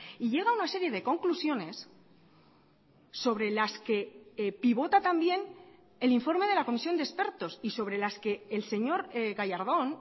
y llega a una serie de conclusiones sobre las que pivota también el informe de la comisión de expertos y sobre las que el señor gallardón